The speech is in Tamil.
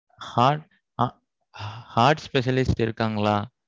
Heart ~ Heart specialist இருக்காங்களா?